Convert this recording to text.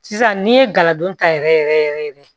Sisan n'i ye gala don ta yɛrɛ yɛrɛ yɛrɛ yɛrɛ yɛrɛ